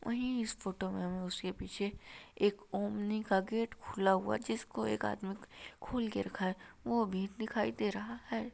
वही इस फोटो मे हमे उसके पीछे एक ओमनी का गेट खुला हुआ जिसको एक आदमी खुलके रखा है वो भी दिखाई दे रहा है।